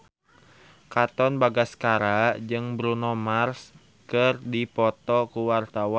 Katon Bagaskara jeung Bruno Mars keur dipoto ku wartawan